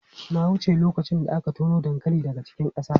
Na wuce lokacin da aka tono dankali daga cikin ƙasa.